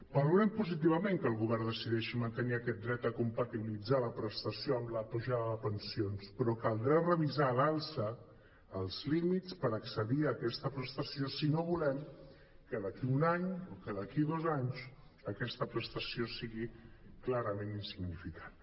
valorem positivament que el govern decideixi mantenir aquest dret a compati·bilitzar la prestació amb l’apujada de pensions però caldrà revisar a l’alça els límits per accedir a aquesta prestació si no volem que d’aquí un any o que d’aquí dos anys aquesta prestació sigui clarament insignificant